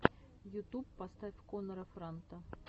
ютуб поставь коннора франта